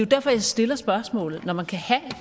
derfor jeg stiller spørgsmålet når man kan have